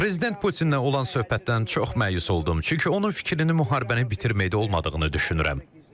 Prezident Putinlə olan söhbətdən çox məyus oldum, çünki onun fikrinin müharibəni bitirmək olmadığını düşünürəm.